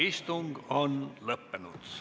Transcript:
Istung on lõppenud.